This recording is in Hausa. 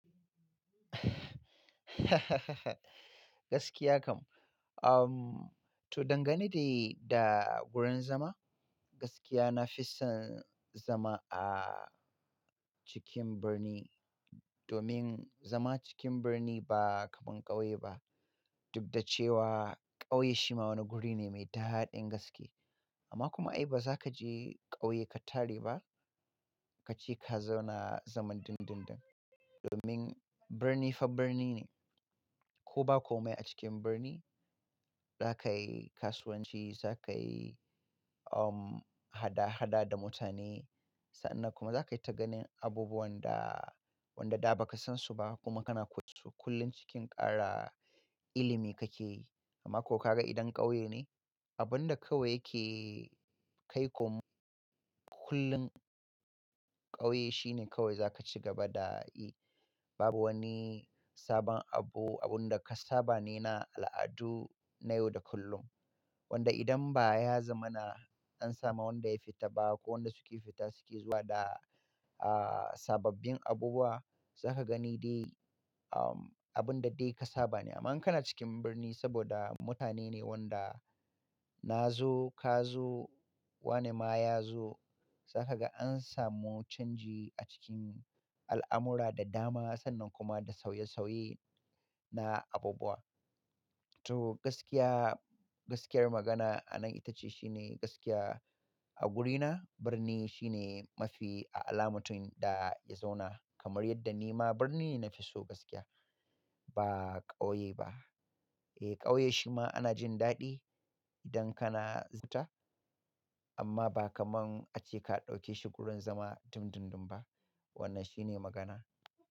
Gaskiya kam. To dangane da, da wurin zama, gaskiya na fi son zama a cikin birni. Domin zama cikin birni ba kamar ƙauye ba. Dukda cewa ƙauye shi ma wani guri ne mai daɗin gaske. Amma kuma ai ba za ka je ƙauye ka tare ba. Ka je ka zauna zaman dundun dun. Domin birni fa birni ne. Ko ba komai a cikin birni, za ka yi kasuwanci, za ka yi, hada-hada da mutane. Sannan kuma za ka yi ta ganin abubuwan da, wanda da ba ka san su ba kuma kana kusu kullum cikin ƙara ilimi ka ke yi. Amma ko ka ga idan ƙauye ne, abin da kawai yake kai komai kullum ƙauye shine kawai za ka ci gaba da yi. Babu wani sabon abu, abun da ka saba ne na al'adu na yau da kullum. Wanda idan baya zamana, an samu wanda ya fita ba ko wanda suke fita suke zuwa da, uh, sababbin abubuwa. Za ka gani dai, abun da dai ka saba ne. Amma kana cikin birni saboda mutane ne wanda na zo, ka zo, wane ma ya zo. Za ka ga an samu canji a cikin al'amura da dama sannan kuma da sauye-sauye na abubuwa. To gaskiya, gaskiyar magana a nan ita ce shine gaskiya a wurina birni shine mafi a ala ga matum da ya zauna. Kamar yadda ni ma birni ne na fi so gaskiya. Ba ƙauye ba. Eh, ƙauye shi ma ana jin daɗi idan kana zata, amma ba kamar ace ka ɗauke shi wurin zama dundun dun ba. Wannan shine magana.